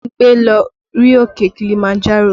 Bímpé lọ rí òkè Kilimanjaro